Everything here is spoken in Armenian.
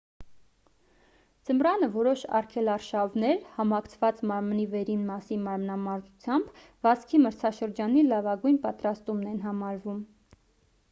ձմռանը որոշ արգելարշավներ համակցված մարմնի վերին մասի մարմնամարզությամբ վազքի մրցաշրջանի լավագույն պատրաստումն են համարվում